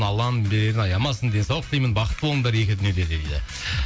алланың берерін аямасын денсаулық тілеймін бақытты болыңдар екі дүниеде дейді